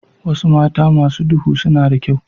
Wasu mata masu duhu suna da kyau.